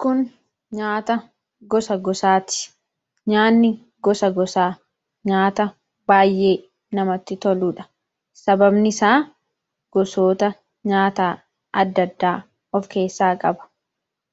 Kun nyaata gosa gosaati. Nyaanni gosa gosaa nyaata baay'ee namatti toluudha. Sababni isaa, gosoota nyaataa adda addaa of keessaa qaba: